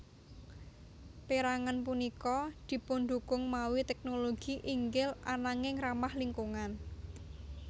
Pérangan punika dipundukung mawi teknologi inggil ananging ramah lingkungan